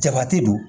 Jabati do